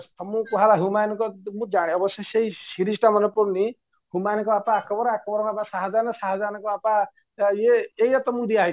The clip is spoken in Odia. ତମକୁ କୁହାଗଲା humanଙ୍କ ମୁଁଜାନେ ଅବଶ୍ୟ ସେଇ seriesଟା ମାନେପଡୁନି humanଙ୍କ ବାପା ଆକବର ଆକବର ବାପା ସହାଜାନ ସାହାଜାନଙ୍କ ବାପା ଇଏ ଏଇଆ ତମକୁ ଦିଆହେଇଥିବା